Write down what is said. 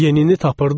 Yenini tapırdıq.